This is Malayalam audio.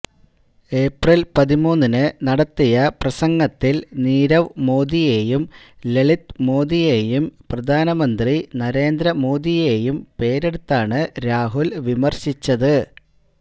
ഏപ്രില് പതിമൂന്നിന് നടത്തിയ പ്രസംഗത്തില് നീരവ് മോദിയെയും ലളിത് മോദിയെയും പ്രധാനമന്ത്രി നരേന്ദ്ര മോദിയെയും പേരെടുത്താണ് രാഹുല് വിമര്ശിച്ചത്